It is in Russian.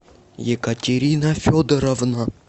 екатерина федоровна